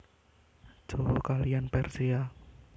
Jawa kaliyan Persia